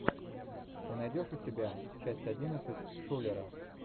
ты найдешь у себя часть одиннадцать шулера